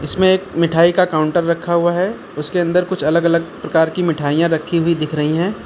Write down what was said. इसमें एक मिठाई का काउंटर रखा हुआ है उसके अंदर कुछ अलग अलग प्रकार की मिठाइयां रखी हुई दिख रही हैं।